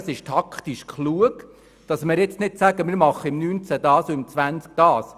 Es ist taktisch klug, dass wir nun nicht sagen, dass wir es im Jahr 2019 oder 2020 machen.